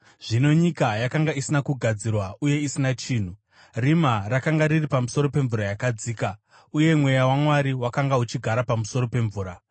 Zvino nyika yakanga isina kugadzirwa uye isina chinhu, rima rakanga riri pamusoro pemvura yakadzika, uye Mweya waMwari wakanga uchigara pamusoro pemvura.